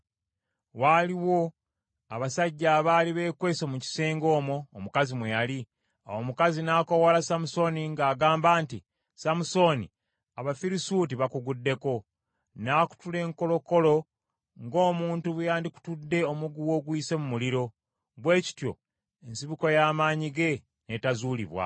Waaliwo abasajja abaali beekwese mu kisenge omwo omukazi mwe yali. Awo omukazi n’akoowoola Samusooni ng’agamba nti, “Samusooni Abafirisuuti bakuguddeko.” N’akutula enkolokolo, ng’omuntu bwe yandikutudde omuguwa oguyise mu muliro. Bwe kityo ensibuko y’amaanyi ge n’etazuulibwa.